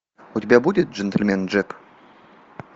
у тебя будет джентельмен джек